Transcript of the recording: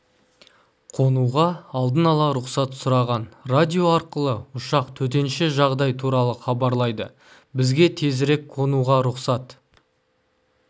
қонуға алдын-ала рұқсат сұраған радио арқылы ұшақ төтенше жағдай туралы хабарлайды бізге тезірек қонуға рұқсат